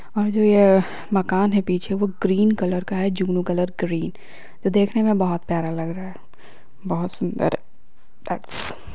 और जो यह मकान है पीछे वो ग्रीन कलर का है जुगनू कलर ग्रीन जो देखने में बहुत प्यारा लग रहा है बहुत सुंदर डेट्स --